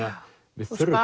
við þurfum